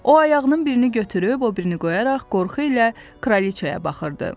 O ayağının birini götürüb, o birini qoyaraq qorxu ilə kraliçaya baxırdı.